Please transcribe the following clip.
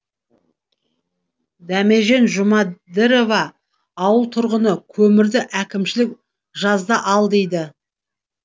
дәмежан жұмадірова ауыл тұрғыны көмірді әкімшілік жазда ал дейді